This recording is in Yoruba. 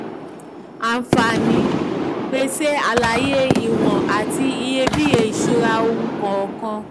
àǹfààní: pèsè àlàyé ìwọ̀n àti ìyebíye ìṣura ohun kọ̀ọ̀kan.